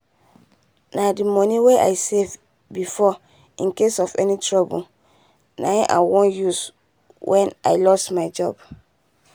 na the money wey i save before in case of any trouble na im i wan use wen i lost my job